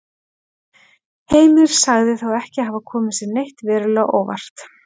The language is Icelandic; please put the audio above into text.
Heimir sagði þá ekki hafa komið sér neitt verulega á óvart.